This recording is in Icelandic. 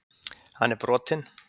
Hann er brotinn.